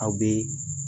Aw bɛ